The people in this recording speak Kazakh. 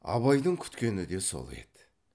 абайдың күткені де сол еді